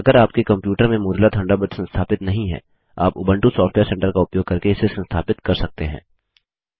अगर आपके कंप्यूटर में मोज़िला थंडरबर्ड संस्थापित नहीं है आप उबंटू सॉफ्टवेयर सेंटर का उपयोग करके इसे संस्थापित कर सकते हैं